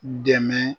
Dɛmɛ